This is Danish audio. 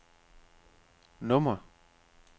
nummer